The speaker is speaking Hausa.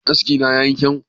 Askina ya yi kyau?